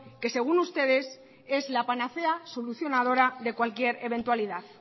que según ustedes es la panacea solucionadora de cualquier eventualidad